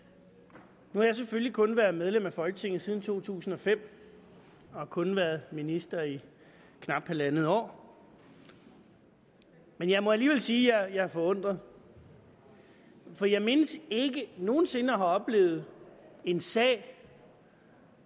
nu har jeg selvfølgelig kun være medlem af folketinget siden to tusind og fem og har kun været minister i knap halvandet år men jeg må alligevel sige at jeg er forundret for jeg mindes ikke nogen sinde at have oplevet en sag